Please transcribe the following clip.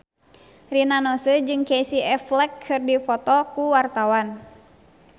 Rina Nose jeung Casey Affleck keur dipoto ku wartawan